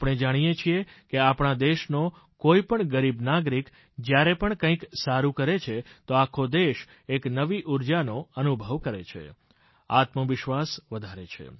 આપણે જાણીએછીએ કે આપણા દેશનો કોઈ પણ ગરીબ નાગરિક જ્યારે પણ કંઈક સારું કરે છે તો આખો દેશ એક નવી ઉર્જાનો અનુભવ કરે છે આત્મવિશ્વાસ વધારે છે